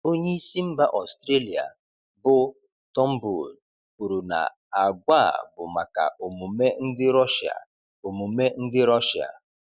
Onyeisi mba Ọstrelia bụ Turnbull kwuru na agwa a bụ maka omume ndị Rọshịa. omume ndị Rọshịa.